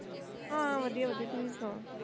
ਹਾਂ ਵਧੀਆ ਵਧੀਆ ਤੁਸੀ ਸੁਣਾਓ